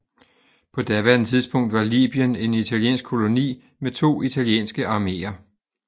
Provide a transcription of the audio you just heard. På daværende tidspunkt var Libyen en italiensk koloni med to italienske arméer